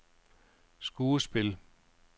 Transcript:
skuespil